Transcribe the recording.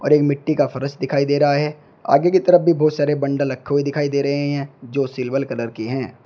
और एक मिट्टी का फरस फर्श दिखाई दे रहा है आगे की तरफ भी बहुत सारे बंडल रखे हुए दिखाई दे रहे हैं जो सिल्वर कलर के हैं।